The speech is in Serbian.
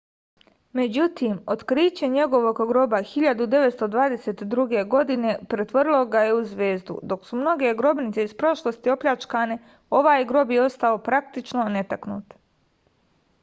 međutim otkriće njegovog groba 1922. pretvorilo ga je u zvezdu dok su mnoge grobnice iz prošlosti opljačkane ovaj grob je ostao praktično netaknut